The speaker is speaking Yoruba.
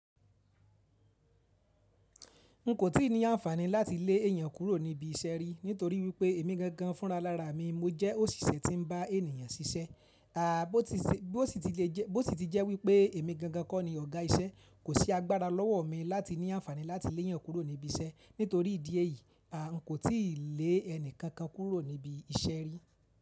N kò tí ì ní ànfàní láti lé èèyàn kúrò níbi iṣẹ́ rí, nítorí wípé èmi gangan fúnra lára mi. Mo jẹ́ òṣìṣẹ́ tí ń bá ènìyàn ṣiṣẹ́. À bó ti sí, bó ti lè jẹ́, bó ti jẹ́ wípé èmi gangan kọ́ ni ọ̀gá iṣẹ́. Kò sí agbára lọ́wọ́ mi láti ní ànfàní láti léyàn kúrò níbi iṣẹ́. Nítorí ìdí èyí, a n kò tí lè ẹni kankan kúrò níbi iṣẹ́ rí.